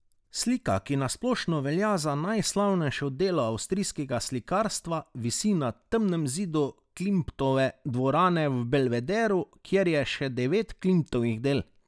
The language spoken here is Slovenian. Slika, ki na splošno velja za najslavnejše delo avstrijskega slikarstva, visi na temnem zidu Klimtove dvorane v Belvederu, kjer je še devet Klimtovih del.